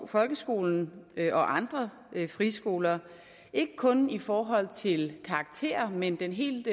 folkeskolen og andre friskoler ikke kun i forhold til karakterer men den helt